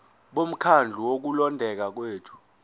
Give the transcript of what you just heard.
bomkhandlu wokulondeka kwethu